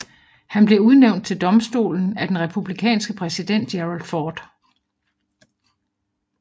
Han blev udnævnt til domstolen af den republikanske præsident Gerald Ford